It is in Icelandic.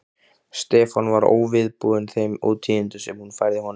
Stefán var óviðbúinn þeim ótíðindum sem hún færði honum.